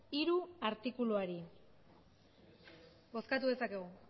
hiru artikuluari bozkatu dezakegu